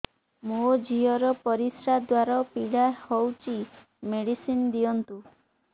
ମୋ ଝିଅ ର ପରିସ୍ରା ଦ୍ଵାର ପୀଡା ହଉଚି ମେଡିସିନ ଦିଅନ୍ତୁ